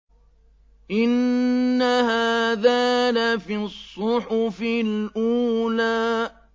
إِنَّ هَٰذَا لَفِي الصُّحُفِ الْأُولَىٰ